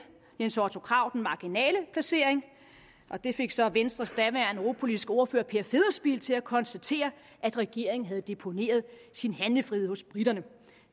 jens otto krag den marginale placering og det fik så venstres daværende europapolitiske ordfører per federspiel til at konstatere at regeringen havde deponeret sin handlefrihed hos briterne